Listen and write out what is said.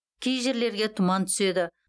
кей жерлерге тұман түседі